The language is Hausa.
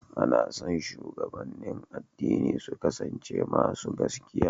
Ana son shugabannin addini su kasance masu gaskiya.